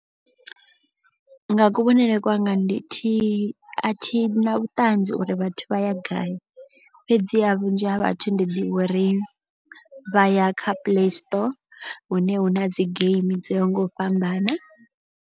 Nga kuvhonele kwanga ndi thi a thi na vhuṱanzi uri vhathu vha ya gai. Fhedziha vhunzhi ha vhathu ndi ḓivha uri vha ya kha play store hune hu na dzi geimi dzo yaho nga u fhambana